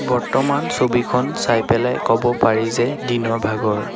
বৰ্তমান ছবিখন চাই পেলাই ক'ব পাৰি যে দিনৰ ভাগৰ।